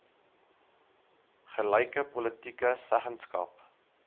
gelyke politieke seggenskap